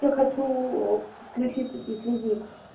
я хочу подключить безлимит